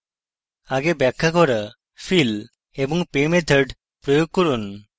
আগে ব্যাখ্যা করা fill এবং pay methods প্রয়োগ করুন